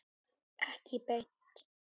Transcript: Pabbi- labb.